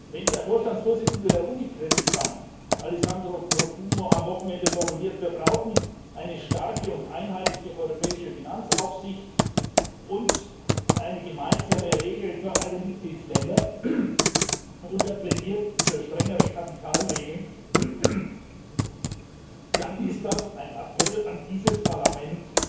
Wenn der Vorstandsvorsitzende der Unicreditbank, Alessandro Profumo, am Wochenende formuliert, wir brauchen eine starke und einheitliche europäische Finanzaufsicht und eine gemeinsame Regel für alle Mitgliedstaaten und er plädiert für strengere Kapitalregeln dann ist das ein Appell an dieses Parlament,